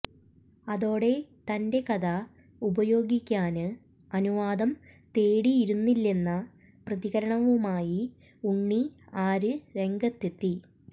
അതോടെ തന്റെ കഥ ഉപയോഗിക്കാന് അനുവാദം തേടിയിരുന്നില്ലെന്ന പ്രതികരണവുമായി ഉണ്ണി ആര് രംഗത്തെത്തി